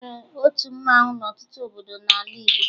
E nwere otu mmanwụ n'ọtụtụ obodo n'ala Igbo